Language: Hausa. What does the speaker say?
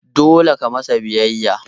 Dole ka masa biyayya.